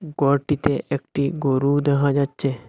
গড়টিতে একটি গরু দেহা যাচ্চে।